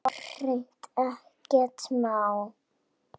Já, hreint ekkert má.